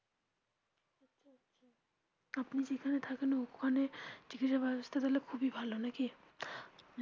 আপনি যেখানে থাকেন ওখানে চিকিৎসা ব্যবস্থা তাহলে খুবই ভালো নাকি.